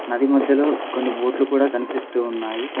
నది మధ్యలో కొన్ని బోట్లు కూడా కనిపిస్తూ ఉన్నాయి.